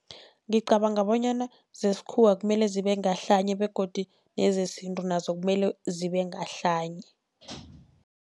Ngicabanga bonyana zesikhuwa kumele zibe ngahlanye begodu nezesintu nazo kumele zibe ngahlanye.